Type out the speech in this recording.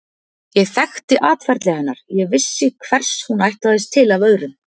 Ég þekkti atferli hennar, ég vissi hvers hún ætlaðist til af öðrum.